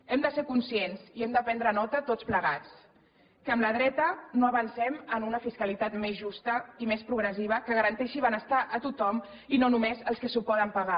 hem de ser conscients i hem de prendre nota tots plegats que amb la dreta no avancem en una fiscalitat més justa i més progressiva que garanteixi benestar a tothom i no només als que s’ho poden pagar